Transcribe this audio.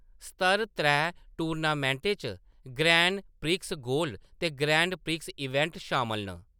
स्तर त्रै टूर्नामेंटें च ग्रैंड प्रिक्स गोल्ड ते ग्रैंड प्रिक्स इवेंट शामल न।